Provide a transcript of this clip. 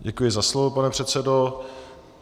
Děkuji za slovo, pane předsedo.